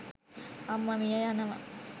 අම්ම මිය යනව.